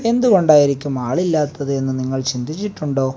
എന്തുകൊണ്ടായിരിക്കും ആളില്ലാത്തത് എന്ന് നിങ്ങൾ ചിന്തിച്ചിട്ടുണ്ടോ.